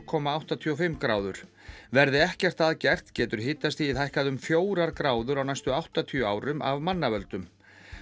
komma áttatíu og fimm gráður verði ekkert að gert getur hitastigið hækkað um fjórar gráður á næstu áttatíu árum af mannavöldum